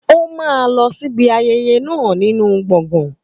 Ó máa lọ síbi ayẹyẹ náà nínú gbọ̀ngàn.